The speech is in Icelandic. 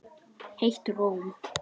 Heitt romm.